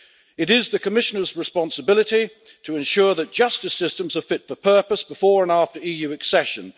It is the Commissioners' responsibility to ensure that justice systems are fit for purpose before and after EU accession.